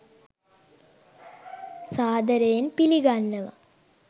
සාද‍රයෙන් පිළිගන්නව!